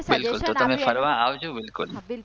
બિલકુલ તો તમે ફરવા આવજો બિલકુલ